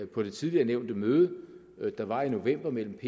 på det tidligere nævnte møde der var i november mellem